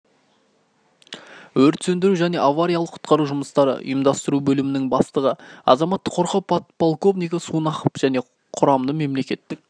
өрт сөндіру және авариялық-құтқару жұмыстары ұйымдастыру бөлімінің бастығы азаматтық қорғау подполковнигі сунақов жеке құрамды мемлекеттік